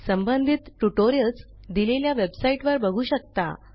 संबंधित ट्युटोरियल्स दिलेल्या वेबसाईट वर बघू शकता